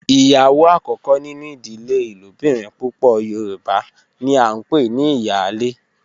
Iyawo akoko ninu idile ilobirin pupọ yoruba ni a npe ni iyale